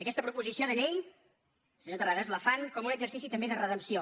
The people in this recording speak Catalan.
aquesta proposició de llei senyor terrades la fan com un exercici també de re·dempció